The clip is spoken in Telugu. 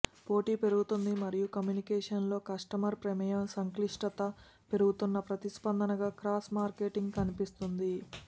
పోటీ పెరుగుతోంది మరియు కమ్యూనికేషన్ లో కస్టమర్ ప్రమేయం సంక్లిష్టత పెరుగుతున్న ప్రతిస్పందనగా క్రాస్ మార్కెటింగ్ కనిపిస్తుంది